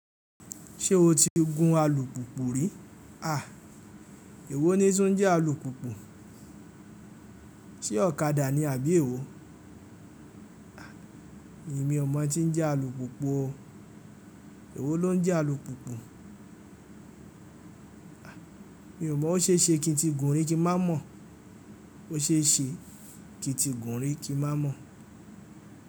Ṣé o ti gun alùpùpù rí? Èwo ni tuń jẹ́ alùpùpù? Ṣé ọ̀kadà ni àbí èwo? Èmi ò mọ̀ n tí ń jẹ́ alùpùpù o. Èwo ló ń jẹ́ alùpùpù? Mi ò mọ̀, ó ṣe é ṣe kí n ti gùn rí kí má mọ̀, ó ṣe é ṣe kí n ti gùn rí kí má mọ̀